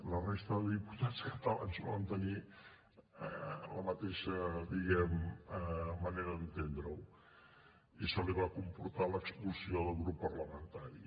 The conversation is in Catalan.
la resta de diputats catalans no van tenir la mateixa diguem ne manera d’entendre ho i això li va comportar l’expulsió del grup parlamentari